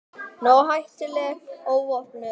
Nógu hættuleg óvopnuð.